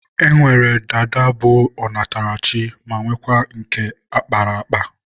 E nwere dada bụ ọ natara chi ma nwekwaa nke a kpara akpa.